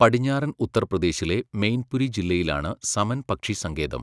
പടിഞ്ഞാറൻ ഉത്തർപ്രദേശിലെ മെയിൻപുരി ജില്ലയിലാണ് സമൻ പക്ഷി സങ്കേതം.